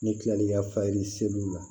Ne kila l'i ka faye seliw la